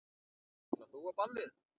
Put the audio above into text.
Ætlar þú á ballið?